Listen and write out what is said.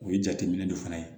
O ye jateminɛ dɔ fana ye